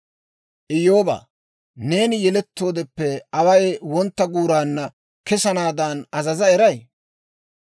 «Iyyoobaa, neeni yelettoodeppe away wontta guuraanna kesanaadan azaza eray?